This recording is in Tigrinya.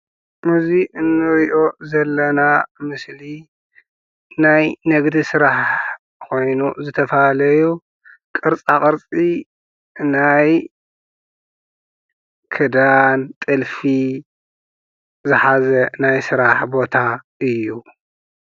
እዚ ንርኢ ዘለና ምስሊ ናይ ንግዲ ስራሕ ኮይኑ ዝተፈላለዩ ቅርፃቅርፂ ናይ ክዳን ጥልፊ ዝሓዘ ናይ ስራሕ ቦታ እዩ።